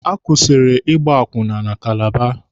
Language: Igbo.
A kwụsịrị Ịgba akwụna na Kalaba.